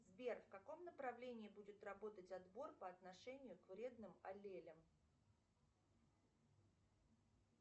сбер в каком направлении будет работать отбор по отношению к вредным аллелям